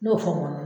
N y'o fɔ n mɔnna